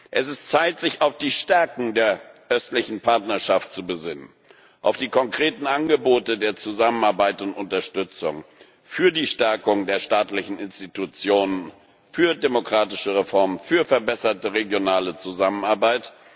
Es ist an der Zeit, sich auf die Stärken der Östlichen Partnerschaft zu besinnen, auf die konkreten Angebote der Zusammenarbeit und Unterstützung für die Stärkung der staatlichen Institutionen, für demokratische Reformen, für verbesserte regionale Zusammenarbeit.